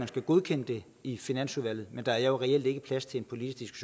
skal godkende det i finansudvalget men der er jo reelt ikke plads til en politisk